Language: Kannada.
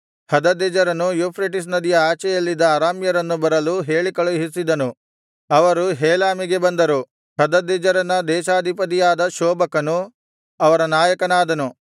ಹದದೆಜೆರನು ಯೂಫ್ರೆಟಿಸ್ ನದಿಯ ಆಚೆಯಲ್ಲಿದ್ದ ಅರಾಮ್ಯರನ್ನು ಬರಲು ಹೇಳಿ ಕಳುಹಿಸಿದನು ಅವರು ಹೇಲಾಮಿಗೆ ಬಂದರು ಹದದೆಜೆರನ ಸೇನಾಧಿಪತಿಯಾದ ಶೋಬಕನು ಅವರ ನಾಯಕನಾದನು